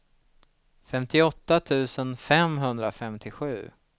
femtioåtta tusen femhundrafemtiosju